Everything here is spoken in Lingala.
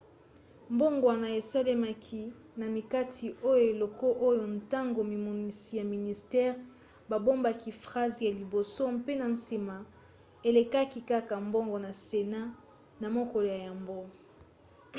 mbongwana esalemaki na makita ya eleko oyo ntango mimonisi ya ministere babomaki phrase ya liboso mpe na nsima elekaki kaka bongo na senat na mokolo ya yambo